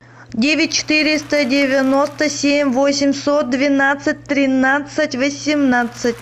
девять четыреста девяносто семь восемьсот двенадцать тринадцать восемнадцать